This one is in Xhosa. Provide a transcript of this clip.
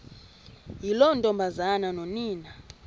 yiloo ntombazana nonina